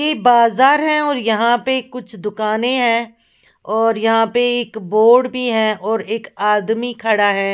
यह एक बाजार है और यहाँ पे कुछ दुकानें हैं और यहाँ पे एक बोर्ड भी है और एक आदमी खड़ा है।